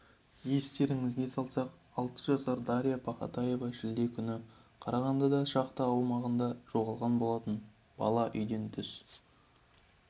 естеріңізге салсақ алты жасар дарья пахатаева шілде күні қарағандыда шахта аумағында жоғалған болатын бала үйден түс